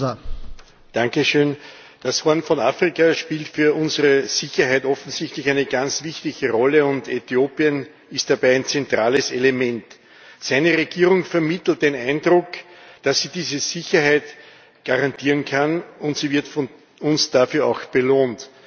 Herr Präsident! Das Horn von Afrika spielt für unsere Sicherheit offensichtlich eine ganz wichtige Rolle, und Äthiopien ist dabei ein zentrales Element. Seine Regierung vermittelt den Eindruck, dass sie diese Sicherheit garantieren kann, und sie wird von uns dafür auch belohnt.